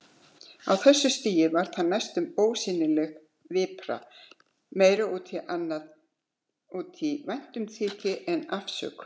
Á þessu stigi var það næstum ósýnileg vipra, meira út í væntumþykju en afsökun.